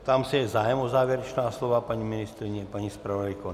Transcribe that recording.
Ptám se, je zájem o závěrečná slova - paní ministryně, paní zpravodajko?